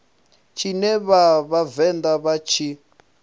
tshine vha vhavenḓa vha tshi